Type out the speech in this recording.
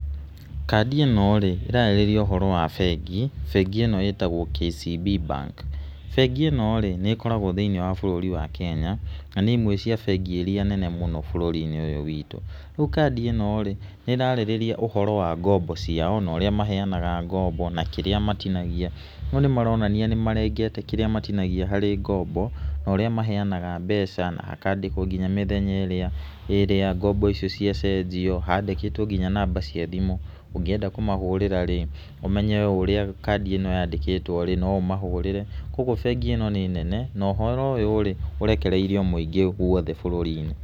Kandi ĩno rĩ, ĩrarĩrĩria ũhoro wa bengi, bengi ĩno ĩtagwo KCB BANK. Bengi mĩno rĩ nĩ ĩkoragwo thiĩniĩ wa bũrũri wa kenya na nĩ imwe cia bengi iria nene mũno bũrũni-inĩ ũyũ witũ. Rĩu kandi ĩno rĩ, nĩ ĩrarĩrĩria ũhoro wa ngombo ciao naũrĩa maheanaga ngombo na kĩrĩa matinagia, ho nĩ maronania nĩ marengete kĩrĩa matinagia harĩ ngombo, ũrĩa maheanaga mebaca na hakandĩkwo nginya mĩthenya ĩrĩa ngombo icio ciacenjio, handĩkĩtwo nginya namba cia thimũ, ũngĩenda kũmahũrĩra rĩ, ũmenye ũrĩa kandĩ ĩno yandĩkĩtwo, ũmahũrĩre, kuũguo bengi ĩno nĩ nene na ũhoro ũyũ rĩ, ũrekereirio guothe bũrũri-inĩ.